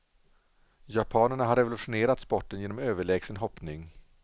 Japanerna har revolutionerat sporten genom överlägsen hoppning.